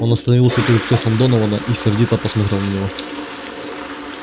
он остановился перед креслом донована и сердито посмотрел на него